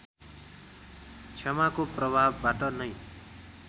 क्षमाको प्रभावबाट नै